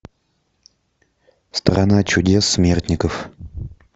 страна чудес смертников